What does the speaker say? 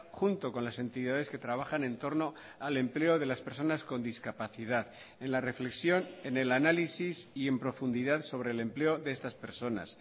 junto con las entidades que trabajan en torno al empleo de las personas con discapacidad en la reflexión en el análisis y en profundidad sobre el empleo de estas personas